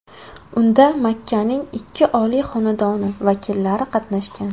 Unda Makkaning ikki oliy xonadoni vakillari qatnashgan.